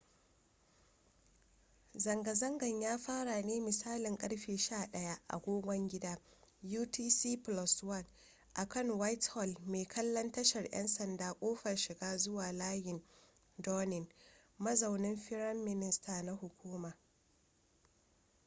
zanga-zangan ya fara ne misalin ƙarfe 11:00 agogon gida utc+1 akan whitehall mai kallon tashar ‘yan sanda kofar shiga zuwa layin downing mazaunin firam minister na hukuma